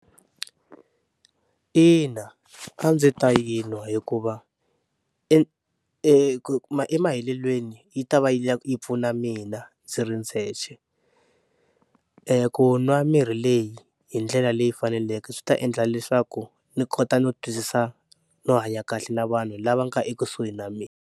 Ina a ndzi ta yi nwa hikuva e emahetelelweni yi ta va yi pfuna mina ndzi ri ndzexe, eku nwa mirhi leyi hi ndlela leyi faneleke swi ta endla leswaku ni kota no twisisa no hanya kahle na vanhu lava nga ekusuhi na mina.